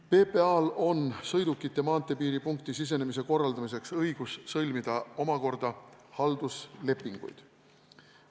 PPA-l on sõidukite maanteepiiripunkti sisenemise korraldamiseks õigus sõlmida omakorda halduslepinguid.